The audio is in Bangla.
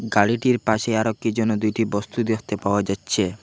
গাড়িটির পাশে আরও কী যেন দুইটি বস্তু দেখতে পাওয়া যাচ্ছে।